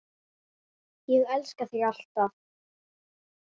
Ég elska þig alltaf.